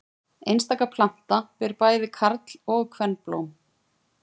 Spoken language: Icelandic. Einstaka planta ber bæði karl- og kvenblóm.